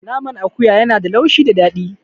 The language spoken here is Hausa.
Naman akuya ya na da laushi da daɗi